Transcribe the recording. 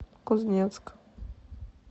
кузнецк